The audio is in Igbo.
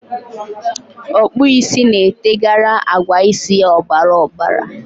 Okpu isi na-eteghara agwa isi ya obara obara.